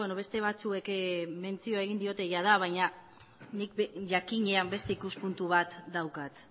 beste batzuek mentzioa egin diola jada baina nik jakinean beste ikuspuntu bat daukat